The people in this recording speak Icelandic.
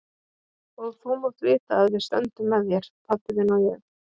Og þú mátt vita að við stöndum með þér, pabbi þinn og ég.